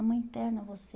A mãe interna você.